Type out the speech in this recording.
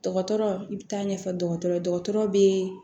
Dɔgɔtɔrɔ i bɛ taa ɲɛfɔ dɔgɔtɔrɔ bɛ